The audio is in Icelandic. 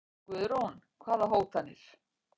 Guðrún: Hvaða hótanir?